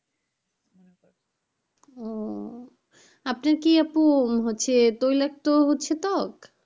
ও আপনার কি আপু হচ্ছে কি তৈলাক্ত হচ্ছে ত্বক?